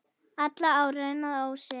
Allar ár renna að ósi.